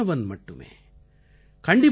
நான் ஒரு மாணவன் மட்டுமே